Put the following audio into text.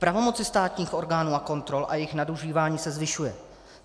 Pravomoc státních orgánů a kontrol a jejich nadužívání se zvyšuje.